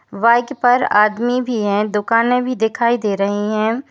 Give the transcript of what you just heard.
वाइक पर आदमी भी है दुकानें भी दिखाई दे रही हैं।